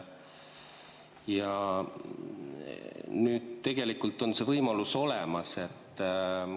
Ja tegelikult on see võimalus olemas.